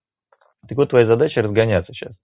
так вот твоя задача разгоняться сейчас